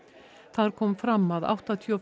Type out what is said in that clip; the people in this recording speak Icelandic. þar kom fram að áttatíu og